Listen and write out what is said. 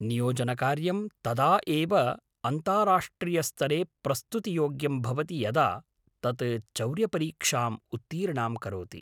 नियोजनकार्यं तदा एव अन्ताराष्ट्रियस्तरे प्रस्तुतियोग्यं भवति यदा तत् चौर्यपरीक्षाम् उत्तीर्णां करोति।